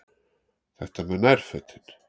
Þetta með nærfötin.